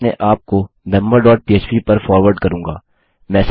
मैं अपने आपको मेंबर डॉट पह्प पर फारवर्ड करूँगा